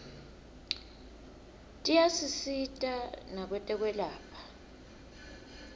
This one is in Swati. tiyasisita nakwetekwelapha